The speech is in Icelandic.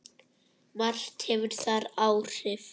Margt hefur þar áhrif.